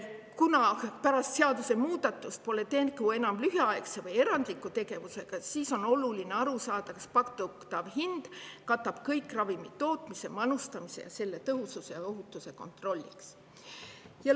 Kuna pärast seadusemuudatust pole enam tegu lühiaegse või erandliku tegevusega, siis on oluline aru saada, kas pakutav hind katab kõik ravimi tootmise, manustamise ja selle tõhususe ja ohutuse kontrolliks vajaliku.